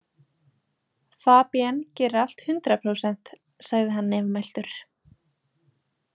Fabienne gerir allt hundrað prósent, sagði hann nefmæltur.